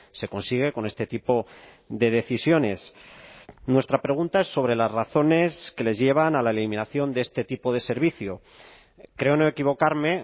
se consigue con este tipo de decisiones nuestra pregunta es sobre las razones que les llevan a la eliminación de este tipo de servicio creo no equivocarme